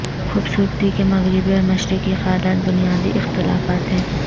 خوبصورتی کے مغربی اور مشرقی خیالات بنیادی اختلافات ہیں